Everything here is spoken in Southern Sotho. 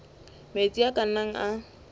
metsi a ka nnang a